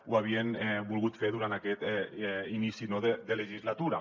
ho havien volgut fer durant aquest inici de legislatura